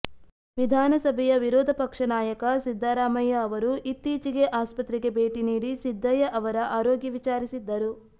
ವಿಧಾನಸಭೆಯ ವಿರೋಧ ಪಕ್ಷ ನಾಯಕ ಸಿದ್ದರಾಮಯ್ಯ ಅವರು ಇತ್ತೀಚೆಗೆ ಆಸ್ಪತ್ರೆಗೆ ಭೇಟಿ ನೀಡಿ ಸಿದ್ದಯ್ಯ ಅವರ ಆರೋಗ್ಯ ವಿಚಾರಿಸಿದ್ದರು